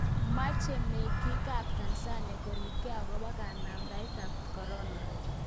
Meche mengiik ab Tansania koribkei akobo kanamdaet ab Korona